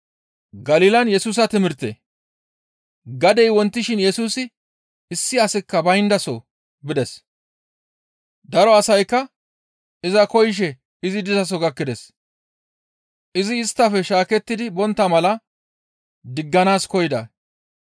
Gadey wontishin Yesusi issi asikka bayndaso bides. Daro asaykka iza koyishe izi dizaso gakkides. Izi isttafe shaakettidi bontta mala digganaas koyida.